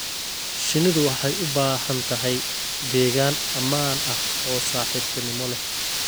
Shinnidu waxay u baahan tahay deegaan ammaan ah oo saaxiibtinimo leh.